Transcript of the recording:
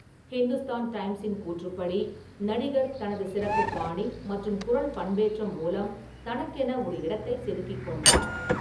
ஹிந்துஸ்தான் டைம்ஸின் கூற்றுப்படி, "நடிகர் தனது சிறப்பு பாணி மற்றும் குரல் பண்பேற்றம் மூலம் தனக்கென ஒரு இடத்தை செதுக்கிக் கொண்டார்."